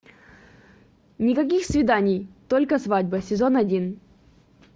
никаких свиданий только свадьба сезон один